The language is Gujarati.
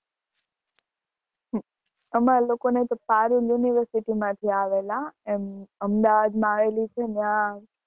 હમ અમારે લોકો ને parul university માં થી આવેલા Ahmedabad માં આયેલી છે ને ત્યાં